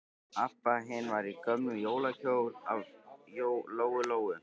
Abba hin var í gömlum jólakjól af Lóu-Lóu.